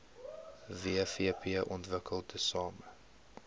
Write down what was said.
wvp ontwikkel tesame